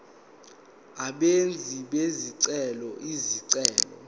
abenzi bezicelo izicelo